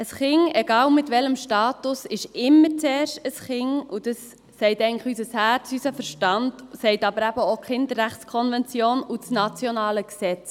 Ein Kind – egal mit welchem Status – ist immer zuerst ein Kind, und das sagt eigentlich auch unser Herz, unser Verstand sowie die Kinderrechtskonvention und das nationale Gesetz.